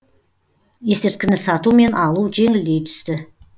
есірткіні сату мен алу жеңілдей түсті